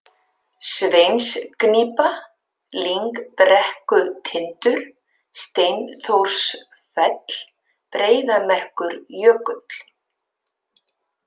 Sveinsgnípa, Lyngbrekkutindur, Steinþórssfell, Breiðamerkurjökull